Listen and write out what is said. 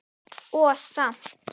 Og samt.